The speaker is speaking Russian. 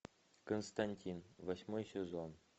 константин восьмой сезон